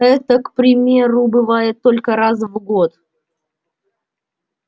эта к примеру бывает только раз в год